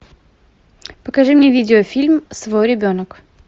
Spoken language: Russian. покажи мне видеофильм свой ребенок